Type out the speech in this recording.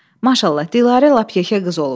Maşallah, Dilarə lap yekə qız olub.